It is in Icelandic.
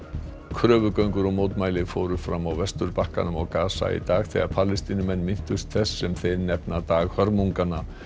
kröfugöngur og mótmæli fóru fram á Vesturbakkanum og Gaza í dag þegar Palestínumenn minntust þess sem þeir nefna dag hörmunganna